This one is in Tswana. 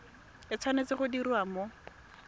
e tshwanetse go diriwa mo